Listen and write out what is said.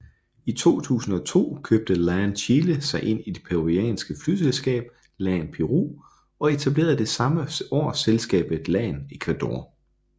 I 2002 købte LAN Chile sig ind i det peruvianske flyselskab LAN Peru og etablerede samme år selskabet LAN Ecuador